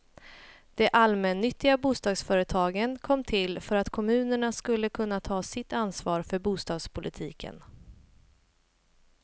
De allmännyttiga bostadsföretagen kom till för att kommunerna skulle kunna ta sitt ansvar för bostadspolitiken.